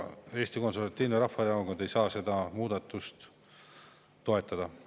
Eesti Konservatiivne Rahvaerakond ei saa seda muudatust toetada.